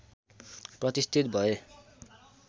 प्रतिष्ठित भए